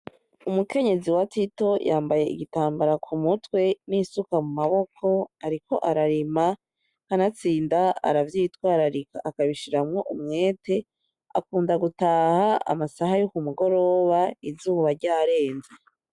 Umukenyezi wa Tito yambaye igitambara ku mutwe n'isuka mu maboko ariko ararima, kanatsinda aravyitwararika akabishiramwo umwete, akunda gutaha amasaha yo ku mugoroba izuba ryarenze.